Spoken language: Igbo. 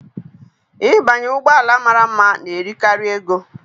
Ịbanye ụgbọ ala mara mma na-eri karị ego.